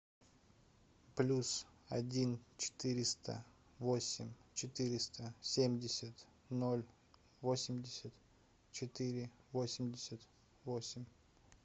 плюс один четыреста восемь четыреста семьдесят ноль восемьдесят четыре восемьдесят восемь